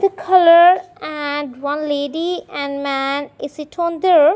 the colour and one lady and man is it on door.